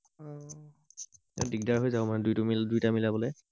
দিগদাৰ হৈ যাব মানে দুই দুইটা মিলাবলে